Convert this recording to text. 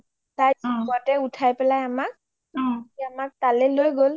তাৰ জিপ তয়ে ওঠাই পেলাই আমাক তালে লই গ’ল